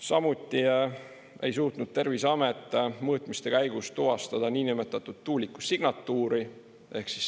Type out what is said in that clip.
Samuti ei suutnud Terviseamet mõõtmiste käigus tuvastada niinimetatud tuuliku signatuuri.